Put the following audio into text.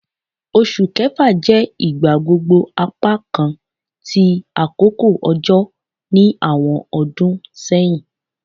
Oṣu Kẹfa jẹ igbagbogbo apakan ti akoko ojo ni awọn ọdun sẹhin